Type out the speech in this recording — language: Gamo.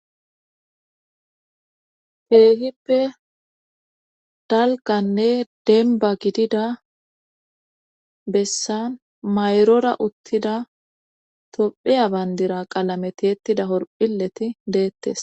keehippe daliganne denba gidida bessan mayrora uttida tophiya bandira qalame tiettida horphileti beettes